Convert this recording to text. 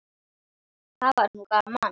Það var nú gaman.